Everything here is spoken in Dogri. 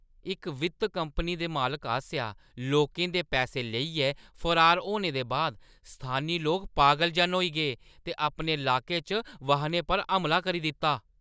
इक वित्त कंपनी दे मालक आसेआ लोकें दे पैसे लेइयै फरार होने दे बाद स्थानी लोक पागल जन होई गे ते अपने लाके च वाहनें पर हमला करी दित्ता।